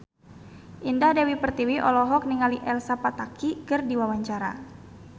Indah Dewi Pertiwi olohok ningali Elsa Pataky keur diwawancara